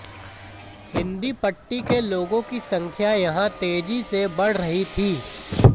हिंदी पट्टी के लोगों की संख्या यहां तेजी से बढ़ रही थी